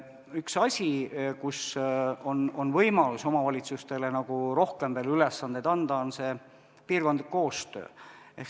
Üks valdkond, kus on võimalik omavalitsustele rohkem ülesandeid anda, on piirkondlik koostöö.